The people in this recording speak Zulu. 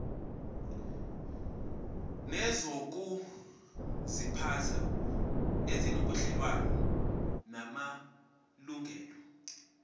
nezokuziphatha ezinobudlelwano namalungelo